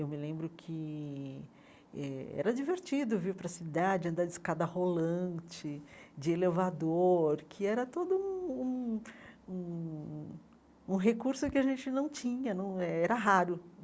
Eu me lembro que eh era divertido vir para a cidade, andar de escada rolante, de elevador, que era todo um um um um recurso que a gente não tinha não é, era raro.